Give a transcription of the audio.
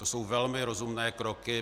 To jsou velmi rozumné kroky.